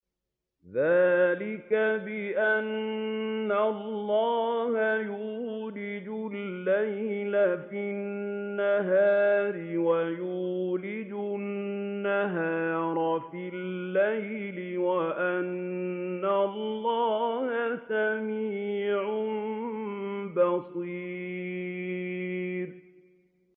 ذَٰلِكَ بِأَنَّ اللَّهَ يُولِجُ اللَّيْلَ فِي النَّهَارِ وَيُولِجُ النَّهَارَ فِي اللَّيْلِ وَأَنَّ اللَّهَ سَمِيعٌ بَصِيرٌ